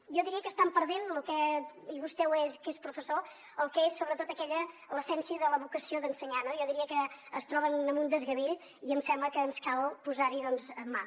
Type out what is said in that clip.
jo diria que estan perdent i vostè ho és que és professor el que és sobretot l’essència de la vocació d’ensenyar no jo diria que es troben amb un desgavell i em sembla que ens cal posar hi doncs mà